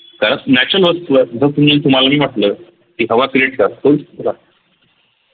तर natural जर तुम्हाला मी म्हटल की हवा create कर शकत का